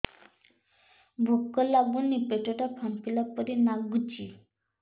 ଭୁକ ଲାଗୁନି ପେଟ ଟା ଫାମ୍ପିଲା ପରି ନାଗୁଚି